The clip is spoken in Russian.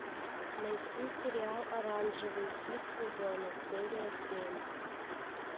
найти сериал оранжевый хит сезона серия семь